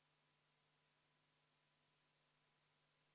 Tulemusega poolt 21, vastu 47, erapooletuid ei ole, ei leidnud ettepanek toetust.